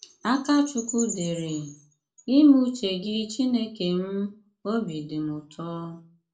Akàchúkwú dére: " Ímé ùché gị Chínèkè m, òbí dì m ùtò.